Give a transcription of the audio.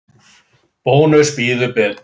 Bónus býður betur.